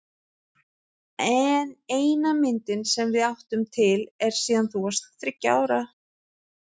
En eina myndin sem við áttum til er síðan þú varst þriggja ára.